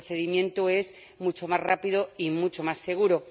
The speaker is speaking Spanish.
el procedimiento es mucho más rápido y mucho más seguro.